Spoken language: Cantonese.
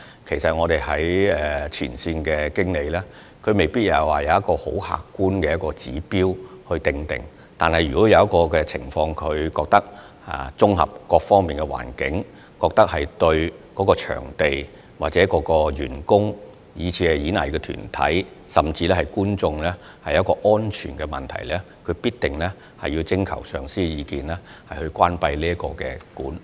其實，前線經理未必有一套很客觀的指標去作決定，但如他們在綜合各方面的考慮後認為當時環境對場地或員工、藝團及觀眾構成安全問題，必定會就關閉場館徵求上司的意見。